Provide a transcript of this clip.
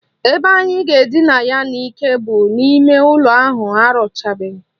Ebe anyị ga-edina ya n'ike bụ n'ime ụlọ ahụ arụchabeghi